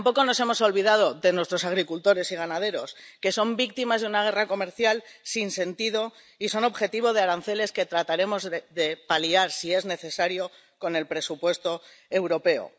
Tampoco nos hemos olvidado de nuestros agricultores y ganaderos, que son víctimas de una guerra comercial sin sentido y son objetivo de aranceles que trataremos de paliar, si es necesario, con el presupuesto europeo.